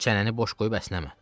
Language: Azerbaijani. Çənəni boş qoyub əsnəmə.